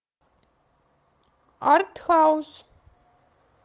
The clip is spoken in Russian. артхаус